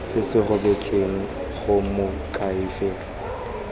se se rebotsweng go moakhaefe